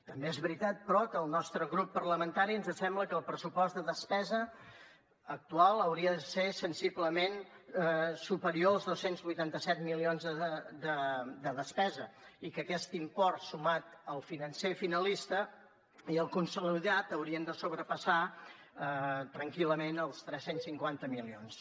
també és veritat però que al nostre grup parlamentari ens sembla que el pressupost de despesa actual hauria de ser sensiblement superior als dos cents i vuitanta set milions de despesa i que aquest import sumat al financer finalista i el consolidat haurien de sobrepassar tranquil·lament els tres cents i cinquanta milions